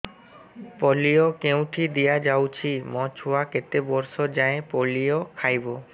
polio କେଉଁଠି ଦିଆଯାଉଛି ମୋ ଛୁଆ କେତେ ବର୍ଷ ଯାଏଁ ପୋଲିଓ ଖାଇବ